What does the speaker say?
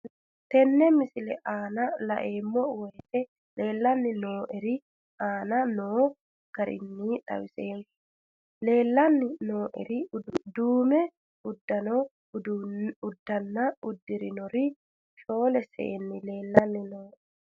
Tenne misile aana laeemmo woyte leelanni noo'ere aane noo garinni xawiseemmo. La'anni noomorri duume uddanna uddirinorri shoole seeni leelanni nooe.